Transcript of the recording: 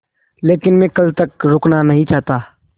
लेकिन मैं कल तक रुकना नहीं चाहता